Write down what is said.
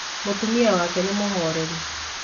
Mũtumia wake nĩ mũhoreri